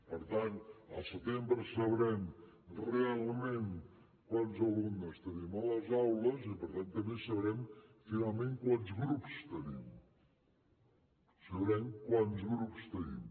per tant al setembre sabrem realment quants alumnes tenim a les aules i per tant també sabrem finalment quants grups tenim sabrem quants grups tenim